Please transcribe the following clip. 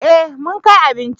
Eh mun kai abinci